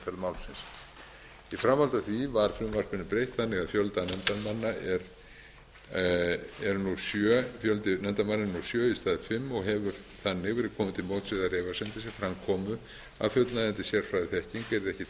í framhaldi af því var frumvarpinu breytt þannig að fjöldi nefndarmanna er nú sjö í stað fimm og hefur þannig verið komið til móts við þær efasemdir sem fram komu að fullnægjandi sérfræðiþekking yrði ekki